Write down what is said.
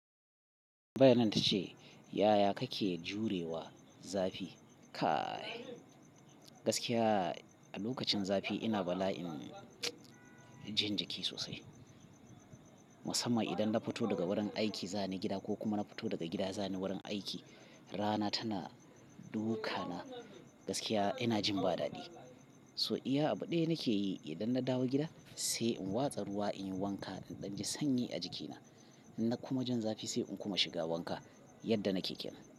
Bayanan ta ce, yaya ka ke jurewa zafi? Kai gaskiya, a lokacin zafi ina bala'in jin jiki sosai. Musamman idan na fito daga wurin aiki zani gida ko kuma na fito daga gida zani wurin aiki, rana tana duka na gaskiya ina jin ba dadi. So iya abu ɗaya nake yi idan na dawo gida sai in watsa ruwa in yi wanka indanji sanyi a jikina. Inna kuma jin zafi sai in kuma shiga wanka yadda nake kenan.